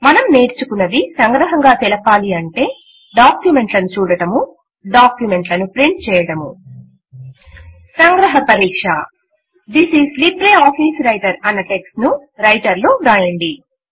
మనం నేర్చుకున్నది సంగ్రహముగా తెలపాలి అంటే డాక్యుమెంట్ లను చూడడము డాక్యుమెంట్ లను ప్రింట్ చేయడము సంగ్రహ పరీక్ష థిస్ ఐఎస్ లిబ్రిఆఫిస్ వ్రైటర్ అన్న టెక్స్ట్ ను రైటర్ లో వ్రాయండి